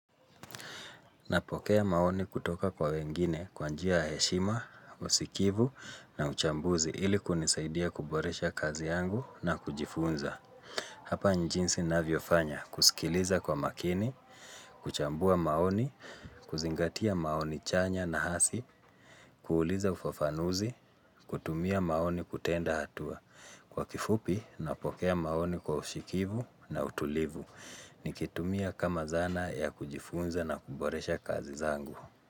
Napokea maoni kutoka kwa wengine kwa njia ya heshima, usikivu na uchambuzi ili kunisaidia kuboresha kazi yangu na kujifunza. Hapa ni jinsi navyofanya kusikiliza kwa makini, kuchambua maoni, kuzingatia maoni chanya na hasi, kuuliza ufafanuzi, kutumia maoni kutenda hatua. Kwa kifupi napokea maoni kwa usikivu na utulivu, nikitumia kama zana ya kujifunza na kuboresha kazi zangu.